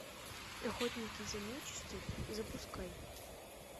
охотники за нечистью запускай